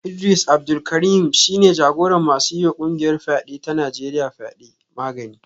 Idris Abdul Karim shi ne jagoran masu yiwa kungiyar fyade ta Najeriya fyade; Magani